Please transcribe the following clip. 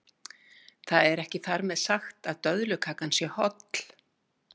Það er ekki þar með sagt að döðlukakan sé holl.